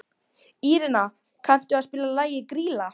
Írena, kanntu að spila lagið „Grýla“?